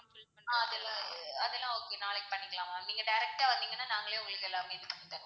ஆஹ் அதெல்லாம் வந்து அதெல்லாம் okay நாளைக்கு பண்ணிக்கலாம் ma'am நீங்க direct டா வந்திங்கன்னா நாங்களே உங்களுக்கு எல்லாமே பண்ணிடுவோம்.